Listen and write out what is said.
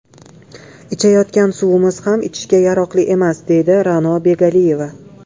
Ichayotgan suvimiz ham ichishga yaroqli emas”, deydi Ra’no Begaliyeva.